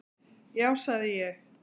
Já sagði ég.